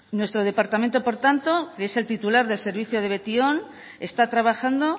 nuestro departamento por tanto es el titular del servicio de betion está trabajando